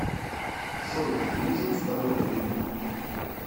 джой нужен второй клип